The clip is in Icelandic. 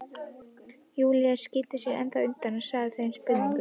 Júlía skýtur sér ennþá undan að svara þeim spurningum.